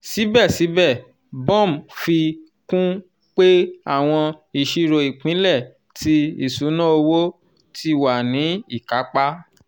sibẹsibẹ bom fi kun pe awọn iṣiro ipilẹ ti iṣuna owo "ti wa ni ikapa